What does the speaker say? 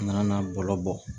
An nana bɔlɔlɔ bɔ